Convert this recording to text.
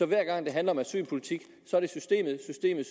hver gang det handler om asylpolitik er det systemet systemet